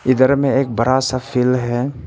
इधर में एक बड़ा सा फील्ड है।